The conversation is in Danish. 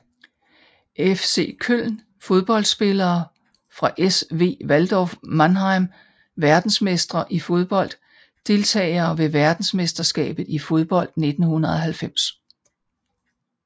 FC Köln Fodboldspillere fra SV Waldhof Mannheim Verdensmestre i fodbold Deltagere ved verdensmesterskabet i fodbold 1990